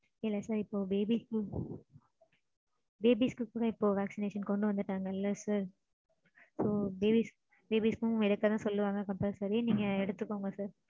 இல்ல sir babies க்கும் babies க்கும் இப்போ vaccination கொண்டு வந்துட்டாங்க இல்ல sir. So babies க்கும் எடுக்கதா சொல்லுவாங்க compulsory. நீங்க எடுத்துக்கோங்க sir.